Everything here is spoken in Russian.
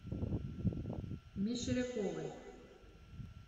мещеряковой